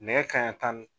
Nɛn ka ɲi tan nin